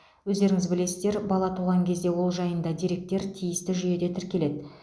өздеріңіз білесіздер бала туған кезде ол жайында деректер тиісті жүйеде тіркеледі